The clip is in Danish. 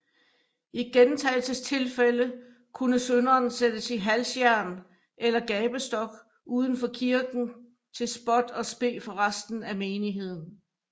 I gentagelsestilfælde kunne synderen sættes i halsjern eller gabestok uden for kirken til spot og spe for resten af menigheden